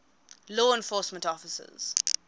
law enforcement officers